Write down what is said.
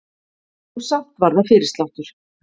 Og samt var það fyrirsláttur.